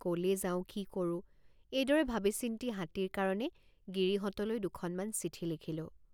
কলে যাওঁ কি কৰোঁএইদৰে ভাবিচিন্তি হাতীৰ কাৰণে গিৰিহঁতলৈ দুখনমান চিঠি লিখিলোঁ।